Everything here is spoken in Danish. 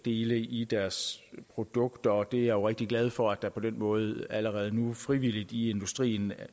i deres produkter og jeg er jo rigtig glad for at der på den måde allerede nu frivilligt i industrien